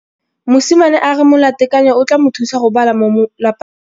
Mosimane a re molatekanyô o tla mo thusa go bala mo molapalong.